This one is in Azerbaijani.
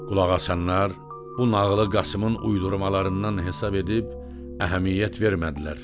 Qulaq asanlar bu nağılı Qasımın uydurmalarından hesab edib əhəmiyyət vermədilər.